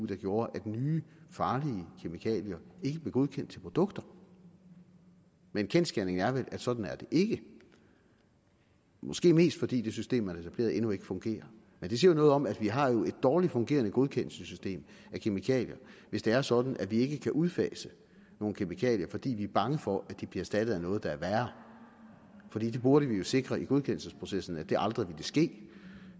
der gjorde at nye farlige kemikalier ikke blev godkendt til produkter men kendsgerningen er vel at sådan er det ikke måske mest fordi det system man har etableret endnu ikke fungerer men det siger noget om at vi har et dårlig fungerende godkendelsessystem af kemikalier hvis det er sådan at vi ikke kan udfase nogle kemikalier fordi vi er bange for at de bliver erstattet af noget der er værre fordi vi burde jo sikre i godkendelsesprocessen at det aldrig ville ske